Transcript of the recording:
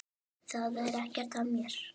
Það er ekkert að mér.